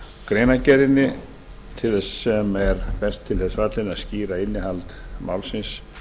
greinargerðinni sem er best til þess fallin að skýra innihald málsins